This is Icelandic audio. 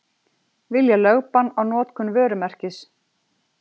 Vilja lögbann á notkun vörumerkis